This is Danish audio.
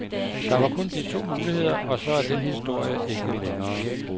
Der var kun de to muligheder, og så er den historie ikke længere.